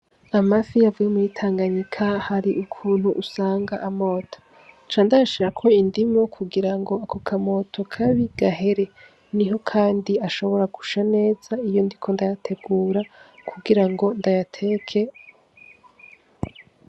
Amafi avuye muri tanganyika hari ukuntu usanga amota. candayashirako indimu kugirango akokamoto kabi gahere nihokandi ashobora gusha neza iyondiko ndayategura kugirango ndayateke.